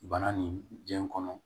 Bana ni diɲɛ kɔnɔ